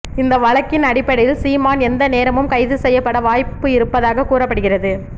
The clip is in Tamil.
இந்த வழக்கின் அடிப்படையில் சீமான் எந்த நேரமும் கைது செய்யப்பட வாய்ப்பு இருப்பதாக கூறப்படுகிறது